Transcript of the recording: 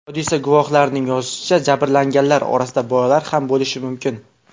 Hodisa guvohlarining yozishicha, jabrlanganlar orasida bolalar ham bo‘lishi mumkin.